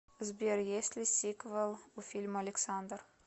сбер есть ли сиквел у фильма александр